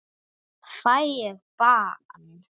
Fæ ég bann?